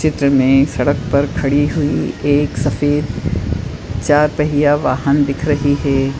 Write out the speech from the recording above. चित्र में सड़क पर खड़ी हुई एक सफ़ेद चार पहिया वाहन दिख रही है।